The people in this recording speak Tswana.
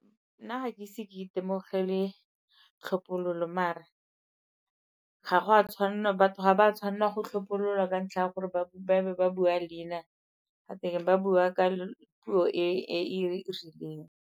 Nna ga ke ise ke itemogele tlhophololo mare ga go a tshwanela, batho ga ba tshwanela go tlhophololwa ka ntlha ya gore ba be ba bua leina gate keng ba bua ka puo e e rileng.